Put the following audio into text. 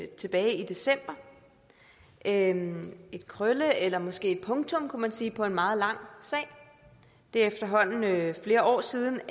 tilbage i december en krølle eller måske et punktum kunne man sige på en meget langvarig sag det er efterhånden flere år siden